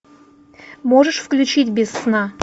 можешь включить без сна